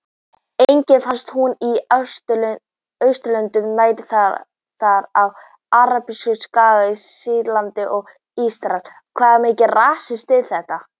Einnig finnst hún í Austurlöndum nær, það er á Arabíuskaga, Sýrlandi og Írak.